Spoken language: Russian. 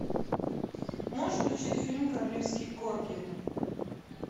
можешь включить фильм королевский корги